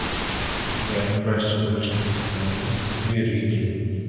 Agar kurashchi bo‘lishni istasangiz bu yerga keling.